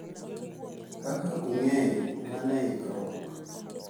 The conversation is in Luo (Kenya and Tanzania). Kaka ung'eyo wan e ikruok